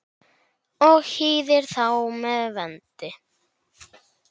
og hýðir þá með vendi.